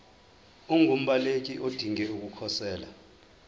ungumbaleki odinge ukukhosela